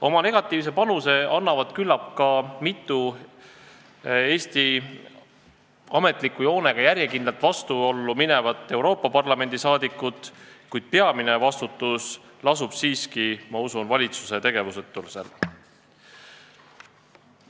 Oma negatiivse panuse annavad küllap ka mitu Eesti ametliku joonega järjekindlalt vastuollu läinud Euroopa Parlamendi liiget, kuid peamine vastutus lasub siiski, ma usun, valitsusel, kes sellel suunal ei tegutse.